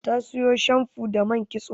Ta siyo shamfu da man kitso.